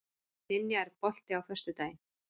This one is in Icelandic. Dynja, er bolti á föstudaginn?